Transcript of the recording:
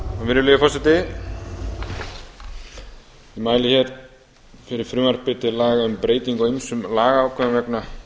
virðulegi forseti ég mæli hér fyrir frumvarpi til laga um breytingu á ýmsum lagaákvæðum vegna